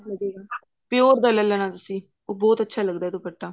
pure pure ਦਾ ਲੈ ਲੈਣਾ ਤੁਸੀਂ ਉਹ ਬਹੁਤ ਅੱਛਾ ਲੱਗਦਾ ਦੁਪੱਟਾ